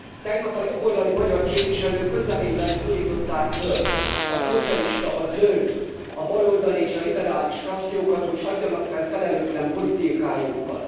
Tegnap a jobboldali magyar képviselők közleményben szólították föl a szocialista, a zöld, a baloldali és a liberális frakciókat, hogy hagyjanak fel felelőtlen politikájukkal.